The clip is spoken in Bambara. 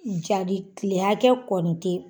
Jali kile hakɛ kɔni te